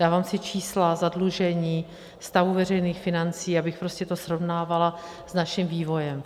Dávám si čísla zadlužení stavu veřejných financí, abych to prostě srovnávala s naším vývojem.